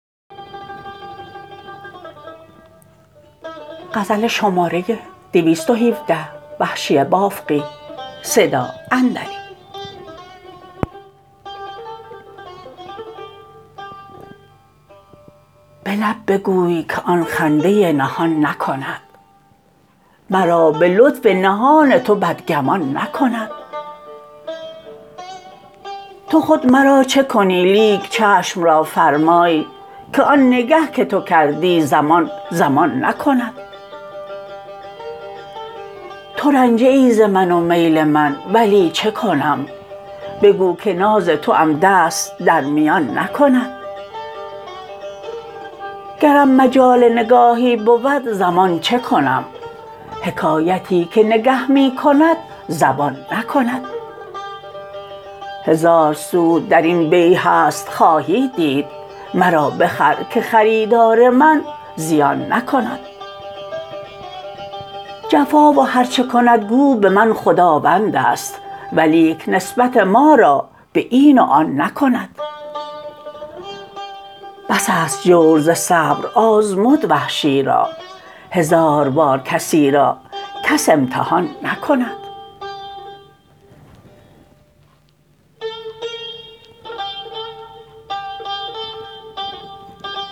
به لب بگوی که آن خنده نهان نکند مرا به لطف نهان تو بد گمان نکند تو خود مرا چه کنی لیک چشم را فرمای که آن نگه که تو کردی زمان زمان نکند تو رنجه ای زمن و میل من ولی چکنم بگو که ناز توام دست در میان نکند گرم مجال نگاهی بود زمان چکنم حکایتی که نگه می کند زبان نکند هزار سود در این بیع هست خواهی دید مرا بخر که خریدار من زیان نکند جفا و هر چه کند گو به من خداوند است ولیک نسبت ما را به این و آن نکند بس است جور ز صبر آزمود وحشی را هزار بار کسی را کس امتحان نکند